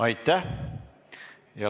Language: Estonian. Aitäh!